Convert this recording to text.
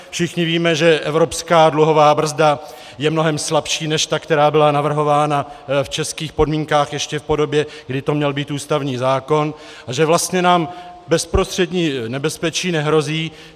Všichni víme, že evropská dluhová brzda je mnohem slabší než ta, která byla navrhována v českých podmínkách ještě v podobě, kdy to měl být ústavní zákon, a že vlastně nám bezprostřední nebezpečí nehrozí.